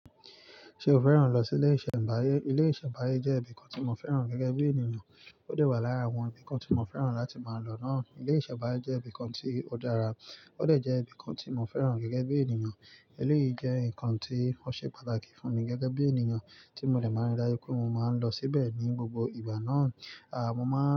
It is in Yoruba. Ṣé o fẹ́ràn lọ sí ilé ìṣẹ̀mbáyé? Ilé ìṣẹ̀mbáyé jẹ́ ibìkan tí mo fẹ́ràn gẹ́gẹ́ bí ènìyàn. Ó de wà lára àwọn ibìkan tí mo fẹ́ràn láti máa lọ náà. Ilé ìṣẹ̀mbáyé jẹ́ ibìkan tí ó dára, ó de jẹ́ ibìkan tí mo fẹ́ràn gẹ́gẹ́ bí ènìyàn. Eleyìí jẹ́ ǹkan tí ó ṣe pàtàkì fún mi gẹ́gẹ́ bí ènìyàn tí mo dè máa ń ri dájú pé mo máa ń lọ síbẹ̀ ní gbogbo ìgbà náà. Aà, mo máa.